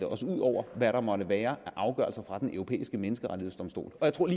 os ud over hvad der måtte være af afgørelser fra den europæiske menneskerettighedsdomstol jeg tror at